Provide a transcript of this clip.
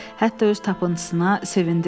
Hətta öz tapıntısına sevindi də.